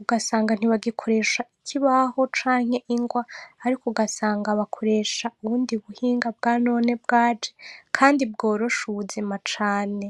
Ugasanga ntibagikoresha ikibaho canke ingwa, ariko ugasanga bakoresha, ubundi buhinga bwa none bwaje, kandi bworosha ubuzima cane.